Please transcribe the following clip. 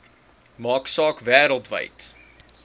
maak saak wêreldwyd